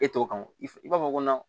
E t'o kan o i b'a fɔ ko